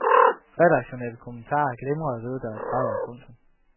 Redaktionelle kommentarer glimrer ved deres fravær. punktum